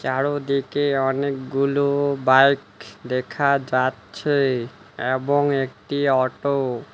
চারোদিকে অনেকগুলো বাইক দেখা যাচ্ছে এবং একটি অটো --